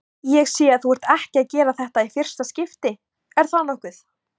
Ég sé að þú ert ekki að gera þetta í fyrsta skipti, er það nokkuð?